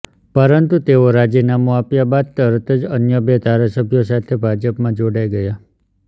પરંતુ તેઓ રાજીનામું આપ્યા બાદ તરત જ અન્ય બે ધારાસભ્યો સાથે ભાજપમાં જોડાઈ ગયા